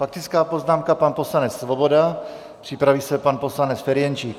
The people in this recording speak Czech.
Faktická poznámka pan poslanec Svoboda, připraví se pan poslanec Ferjenčík.